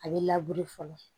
A bɛ fɔlɔ